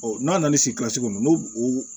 n'an nana ni sigi kɔnɔ n'u o